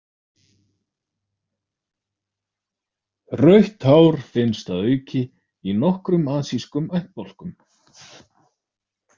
Rautt hár finnst að auki í nokkrum asískum ættbálkum.